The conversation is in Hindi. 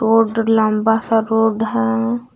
लंबा सा रोड है।